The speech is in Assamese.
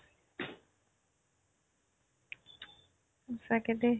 সঁচাকে দেই